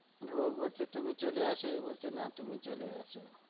ও বলছে তুমি চলে আসো এ বলছে না তুমি চলে আসো